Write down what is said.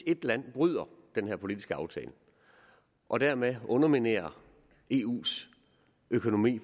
et land bryder den her politiske aftale og dermed underminerer eus økonomi